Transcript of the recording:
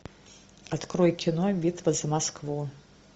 открой кино битва за москву